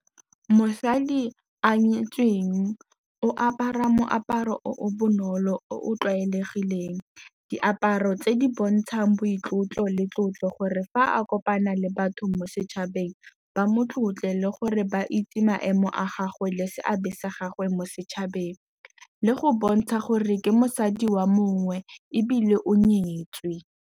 Mosadi a nyetsweng o apara moaparo o o bonolo, o o tlwaelegileng, diaparo tse di bontšang boitlotlo le tlotlo, gore fa a kopana le batho mo setšhabeng ba mo tlotle le gore ba itse maemo a gagwe le seabe sa gagwe mo setšhabeng, le go bontsha gore ke mosadi wa mongwe, ebile o nyetswe.